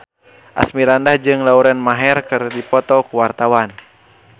Asmirandah jeung Lauren Maher keur dipoto ku wartawan